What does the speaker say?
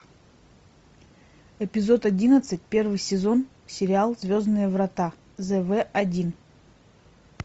эпизод одиннадцать первый сезон сериал звездные врата зв один